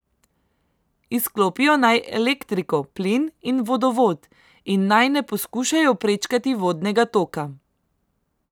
Izklopijo naj elektriko, plin in vodovod in naj ne poskušajo prečkati vodnega toka.